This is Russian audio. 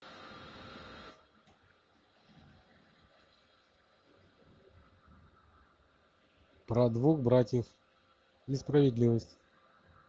про двух братьев и справедливость